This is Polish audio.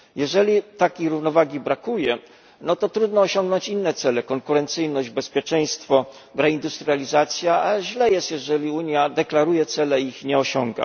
Jeżeli takiej równowagi brakuje, to trudno osiągnąć inne cele konkurencyjność, bezpieczeństwo, reindustrializację, a źle jest, jeżeli Unia deklaruje cele i ich nie osiąga.